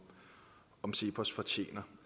om cepos fortjener